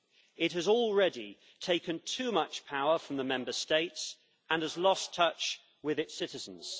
It has already taken too much power from the Member States and has lost touch with its citizens.